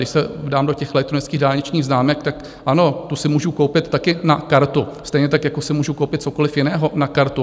Když se dám do těch elektronických dálničních známek, tak ano, tu si můžu koupit taky na kartu, stejně tak jako si můžu koupit cokoliv jiného na kartu.